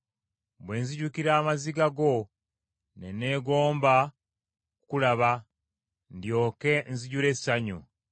Bwe nzijukira amaziga go ne neegomba okukulaba ndyoke nzijule essanyu.